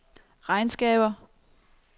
regnskaber